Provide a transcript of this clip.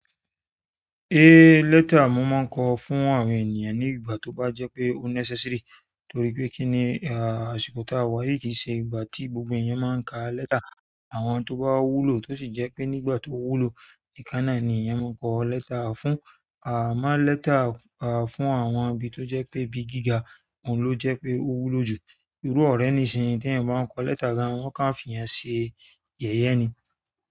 Lẹ́tà ni mo máa ń kọ fún àwọn ènìyàn ní ìgbà tó bá jẹ́ pé ó necessary, torípé kíni, àsìkò tí a wà yìí, kí n ṣe ìgbà tí gbogbo èèyàn máa ń kà lẹ́tà. Àwọn tó bá wúlò tó sì jẹ́ pé nígbà tó wúlò, ìkánná ni èèyàn máa ń kọ lẹ́tà fún. A máa ń lẹ́tà fún àwọn ibi tó jẹ́ pé ibi gíga, oun ló jẹ́ pé ó wúlò jù. Irú ọ̀rẹ́ nìṣìnyí tí ẹ̀yin bá ń kọ lẹ́tà ga wọ́n ká ń fi èèyàn ṣe yẹ̀yẹ́ ni.